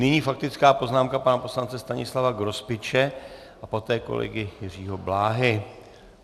Nyní faktická poznámka pana poslance Stanislava Grospiče a poté kolegy Jiřího Bláhy.